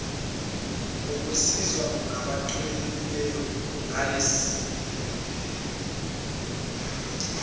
ngokusizwa ngabeluleki ngalesi